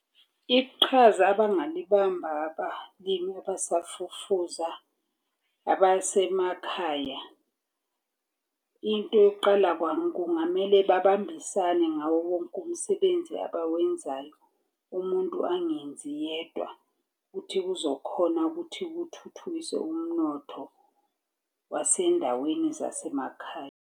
Iqhaza abangalibamba abalimi abasafufuza abasemakhaya. Into yokuqala kungamele babambisane ngawo wonke umsebenzi abawenzayo. Umuntu angenzi yedwa. Uthi kuzokhona ukuthi kuthuthukiswe umnotho wasendaweni zasemakhaya.